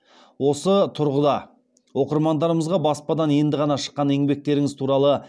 осы тұрғыда оқырмандарымызға баспадан енді ғана шыққан еңбектеріңіз туралы